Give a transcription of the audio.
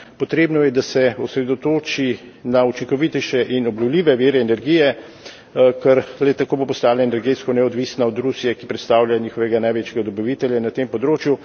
Potrebno je, da se osredotoči na učinkovitejše in obnovljive vire energije, ker le tako bo postala energetsko neodvisna od Rusije, ki predstavlja njihovega največjega dobavitelja na tem področju.